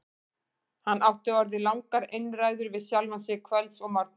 Hann átti orðið langar einræður við sjálfan sig kvölds og morgna.